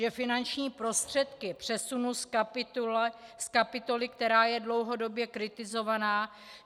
Že finanční prostředky přesunu z kapitoly, která je dlouhodobě kritizovaná?